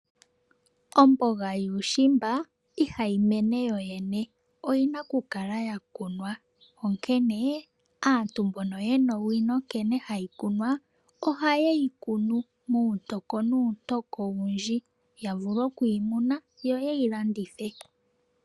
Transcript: Omboga yuushimba iha yi mene yo yene, oyi na okukala ya kunwa. Onkene aantu mbono ye na owino nkene hayi kunwa, oha ye yi kunu, muuntoko nuuntoko owundji, ya vule oku yi muna, yo yehi landithe.